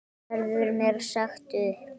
Verður mér sagt upp?